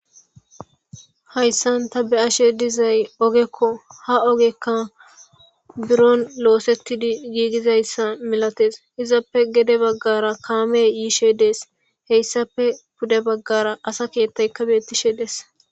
hayssan ta be ashe dizay ogekko ha ogekka buron oosettidi giigizayssa milates izappe gede baggara kaame yiishe dees heyssape duge baggara asa keettaykka bettishe dees